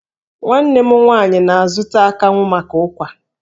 Nwanne m nwaanyị na-azụta akanwụ maka ụ́kwà.